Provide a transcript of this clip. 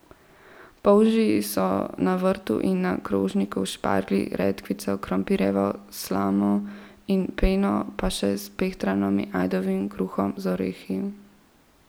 Polži so na vrtu in na krožniku s šparglji, redkvico, krompirjevo slamo in peno, pa še s pehtranom in ajdovim kruhom z orehi.